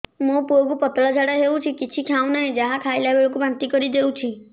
ମୋ ପୁଅ କୁ ପତଳା ଝାଡ଼ା ହେଉଛି କିଛି ଖାଉ ନାହିଁ ଯାହା ଖାଇଲାବେଳକୁ ବାନ୍ତି କରି ଦେଉଛି